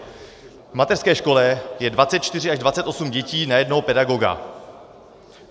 V mateřské škole je 24 až 25 dětí na jednoho pedagoga.